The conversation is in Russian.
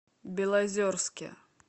белозерске